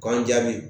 K'an jaabi